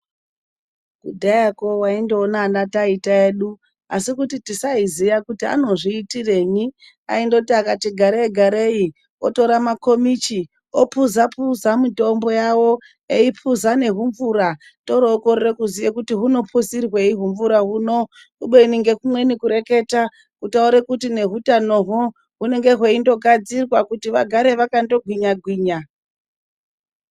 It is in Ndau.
Kudhayako waindoona ana taita edu asi kuti tisaiziya kuti anozviitirenyi. Aindoti akati garei garei otora makomichi opuza puza mitombo yawo eipuza nehumvura. Torookorera kuziya kuti hunopuzirwei humvura huno, kubeni ngekumweni kureketa, kutaure kuti nehutanohwo, hunenge hweindogadzirwa kuti vagare vakandogwinya gwinya.